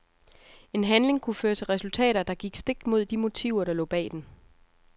En handling kunne føre til resultater, der gik stik imod de motiver der lå bag den.